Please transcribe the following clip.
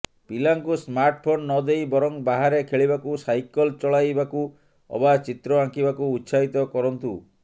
ପିଲାଙ୍କୁ ସ୍ମାର୍ଟଫୋନ୍ ନଦେଇ ବରଂ ବାହାରେ ଖେଳିବାକୁ ସାଇକଲ ଚଳାଇବାକୁ ଅବା ଚିତ୍ର ଆଙ୍କିବାକୁ ଉତ୍ସାହିତ କରନ୍ତୁ